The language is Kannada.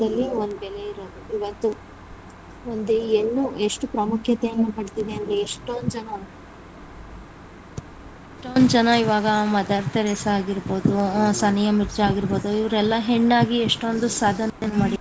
ದಲ್ಲಿ ಒಂದು ಬೆಲೆ ಇರೋದು ಇವತ್ತು ಒಂದು ಹೆಣ್ಣು ಎಷ್ಟು ಪ್ರಮುಖ್ಯಾತೆಯನ್ನ ಪಡ್ಡಿದೆ ಅಂದ್ರೆ ಎಷ್ಟೊಂದು ಜನ ಎಷ್ಟೊಂದು ಜನ ಇವಾಗ ಮದರ್‌ ತೆರೇಸಾ ಆಗಿರ್ರ್ಬೋದು, ಸಾನಿಯಾ ಮಿರ್ಜಾ ಆಗಿರ್ರ್ಬೋದುಇವರೆಲ್ಲ ಹೆಣ್ಣಾಗಿ ಎಷ್ಟೊಂದು ಸಾಧನೆ ಮಾಡಿ.